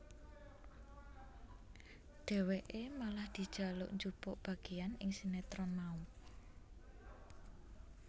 Dhéwéké malah dijaluk njupuk bagéan ing sinetron mau